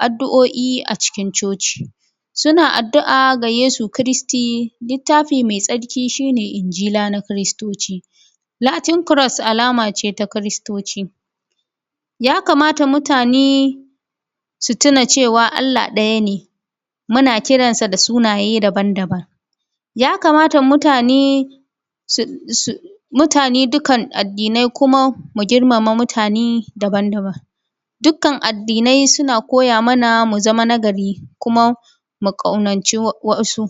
addu’oi, a cikin coci. Suna addu’a ga yesu Kristi, littafi mai tsarki shine injila na kristoci. latin cros alamace ta kristoci. Ya kamata mutane su tuna cewa Allah ɗaya ne muna kiransa da sunaye daban daban ya kamata mutane dukan addinai kuma mu girmama mutane daban daban. Dukkan addinai suna koya mana muzama na gari kuma mu ƙaunaci wasu.